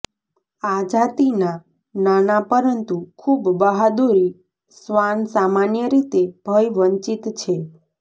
આ જાતિના નાના પરંતુ ખૂબ બહાદુરી શ્વાન સામાન્ય રીતે ભય વંચિત છે